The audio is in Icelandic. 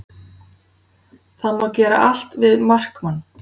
Það má gera allt við markmann